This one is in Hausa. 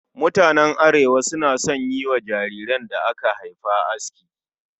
Mutanen Arewa suna son yi wa jariran da aka haifa aski